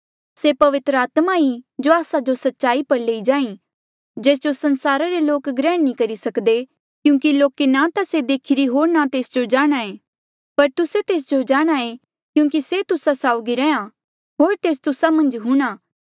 से पवित्र आत्मा ई जो आस्सा जो सच्चाई पर लई जांहीं जेस जो संसारा रे लोक ग्रैहण नी करी सक्दे क्यूंकि लोके ना ता से देखीरी होर ना तेस जो जाणहां पर तुस्से तेस जो जाणहां ऐें क्यूंकि से तुस्सा साउगी रैंहयां होर तेस तुस्सा मन्झ हूंणां